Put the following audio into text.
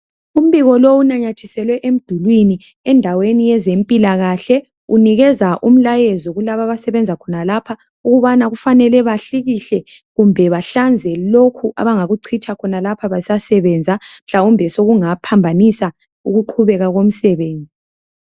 Umbiko lo inamathiselwe emdulwini endaweni yezempilakahle. Unikeza umlayezo kulaba abasebenza khonalapha ukubana kufanele bahlikihle kumbe bahlanze lokhu abangakuchitha khonapha besasebenza mhlawumbe sokungaphambanisa ukuqhubeka komsebenzi